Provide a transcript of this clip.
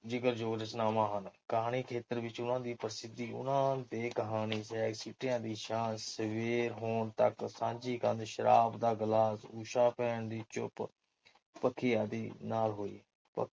ਦੋ ਰਚਨਾਵਾਂ ਹਨ। ਕਹਾਣੀਖੇਤਰ ਵਿਚ ਵੀ ਉਹਨਾਂ ਦੀ ਪ੍ਰਸਿੱਧੀ ਉਹਨਾਂ ਦੇ ਕਹਾਣੀ ਤੇ ਦੀ ਸ਼ਾਨ, ਸਵੇਰ ਹੋਣ ਤਕ, ਸਾਂਝੀ ਕੰਧ, ਸ਼ਰਾਬ ਦਾ ਗਿਲਾਸ, ਊਸ਼ਾ ਭੈਣ ਦੀ ਚੁੱਪ, ਪੱਖੇ ਆਦਿ ਨਾਲ ਹੋਈ